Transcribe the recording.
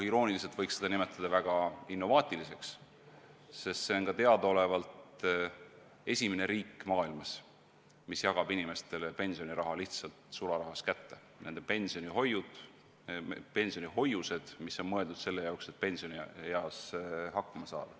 Irooniliselt võiks seda nimetada väga innovaatiliseks, sest Eesti on teadaolevalt esimene riik, mis jagab inimestele pensioniraha lihtsalt sularahas kätte, nende pensionihoiused, mis on mõeldud selle jaoks, et pensionieas hakkama saada.